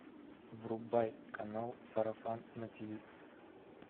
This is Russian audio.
врубай канал сарафан на тв